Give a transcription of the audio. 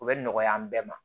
U bɛ nɔgɔya an bɛɛ ma